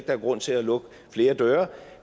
er grund til at lukke flere døre